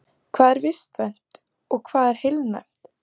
Hvað er vistvænt og hvað er heilnæmt?